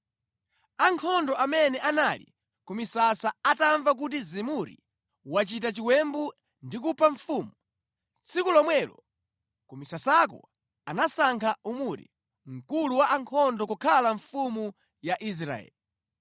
Ankhondo amene anali ku misasa atamva kuti Zimuri wachita chiwembu ndi kupha mfumu, tsiku lomwelo ku misasako anasankha Omuri, mkulu wa ankhondo kukhala mfumu ya Israeli.